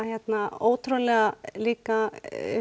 ótrúlega líka